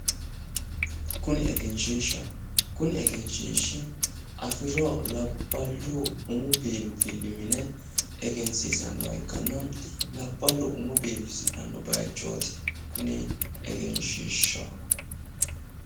Kuni egenshiishshaho. kuni egenshiishshi afirinoha labballu umu biifilli mine egensiisanniha ikkanna kuni labbalku umon biifisidhsnno bayichooti kuni egenshiidhsha.